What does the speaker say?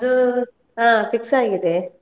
ಅದು ಹಾ fix ಆಗಿದೆ.